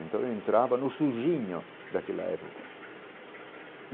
Então eu entrava no surginho daquela época.